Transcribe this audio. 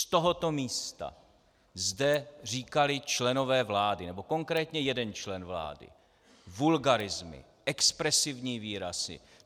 Z tohoto místa zde říkali členové vlády, nebo konkrétně jeden člen vlády, vulgarismy, expresivní výrazy.